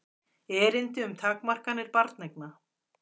Erindi um takmarkanir barneigna.